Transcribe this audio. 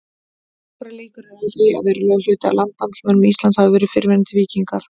Nokkrar líkur eru á því að verulegur hluti af landnámsmönnum Íslands hafi verið fyrrverandi víkingar.